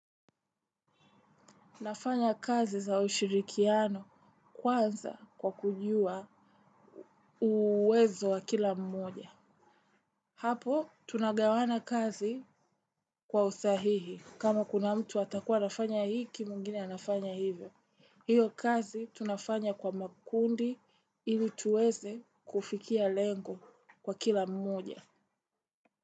Nafanya kazi za ushirikiano kwanza kwa kujua uwezo wa kila mmoja hapo tunagawana kazi kwa usahihi kama kuna mtu atakuwa anafanya hiki mwingine anafanya hivyo iyo kazi tunafanya kwa makundi ili tuweze kufikia lengo kwa kila mmoja.